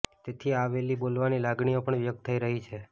તેથી આ વહેલી બોલાવવાની લાગણીઓ પણ વ્યક્ત થઈ રહી છે